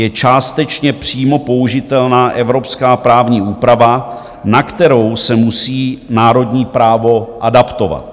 Je částečně přímo použitelná evropská právní úprava, na kterou se musí národní právo adaptovat.